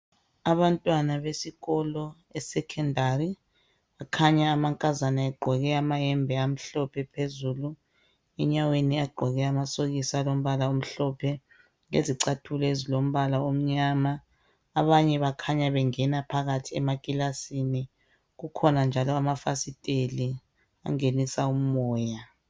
Abantwana besikolo esekhondari kukhanya amankazana egqoke amayembe amhlophe phezulu, enyaweni agqoke amasokisi alombala omhlophe, lezicathulo ezilombala omnyama, abanye bakhanya bengena phakathi ekilasini kukhona njalo amafasitela angenisa umoya.